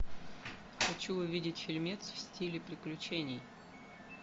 хочу увидеть фильмец в стиле приключений